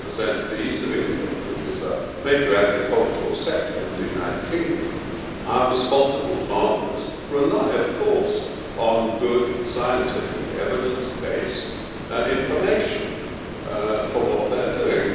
I represent the East of England, which is a major agricultural sector in the United Kingdom. Our responsible farmers rely on good scientific, evidence-based information for what they are doing.